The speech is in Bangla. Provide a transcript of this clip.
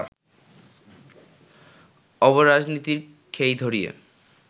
অব-রাজনীতির খেই ধরিয়ে